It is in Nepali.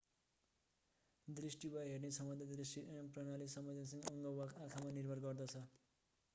दृष्टि वा हेर्ने क्षमता दृश्य प्रणाली संवेदनशिक अङ्ग वा आँखामा निर्भर गर्छ